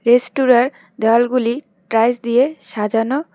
রেস্তোরাঁর দেওয়ালগুলি টাইলস দিয়ে সাজানো।